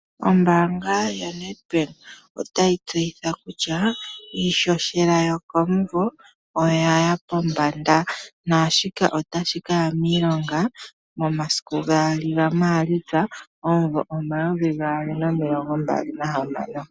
Ombaanga yaNedbank otayi tseyitha kutya iishoshela yokomumvo oyaya pombanda, naashika otashi kaya miilonga mu 02 Maalitsa 2026.